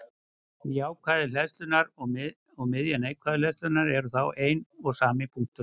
Miðja jákvæðu hleðslunnar og miðja neikvæðu hleðslunnar eru þá einn og sami punkturinn.